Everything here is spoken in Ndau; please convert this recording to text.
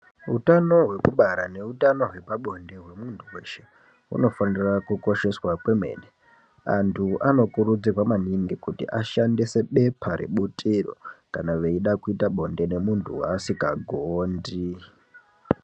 Hutano hwekubara neutano hwepabonde wemuntu weshe unofanira kukosheswa kwemene andu anokurudzirwa maningi kuti ashandise bepa rebutiro kana veida kuita bonde nemuntu waasinga gondi